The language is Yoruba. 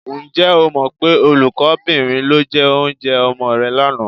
Ǹjẹ́ o mọ pé olùkọ́bìnrin ló jẹ oúnjẹ ọmọ rẹ lánàá?